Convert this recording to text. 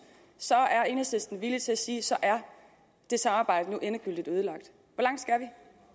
så er enhedslisten villig til at sige at så er det samarbejde nu endegyldigt ødelagt